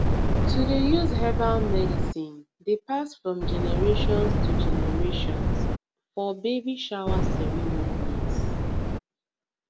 to dey use herbal medicine dey pass from generations to generation fir baby shower ceremonies